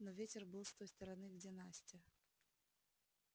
но ветер был с той стороны где настя